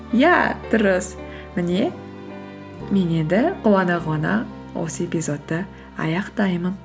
иә дұрыс міне мен енді қуана қуана осы эпизодты аяқтаймын